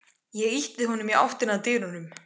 Ég ýti honum í áttina að dyrunum.